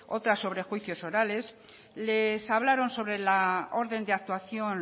otra sobre juicios orales les hablaron sobre la orden de actuación